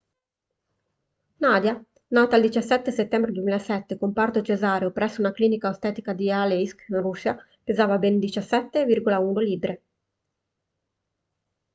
nadia nata il 17 settembre 2007 con parto cesareo presso una clinica ostetrica di aleisk russia pesava ben 17,1 libbre